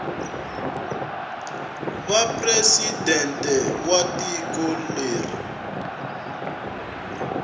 va presidente wa tiko leri